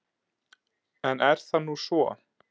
En er það nú svo?